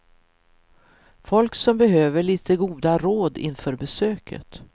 Folk som behöver lite goda råd inför besöket.